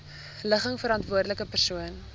ligging verantwoordelike persoon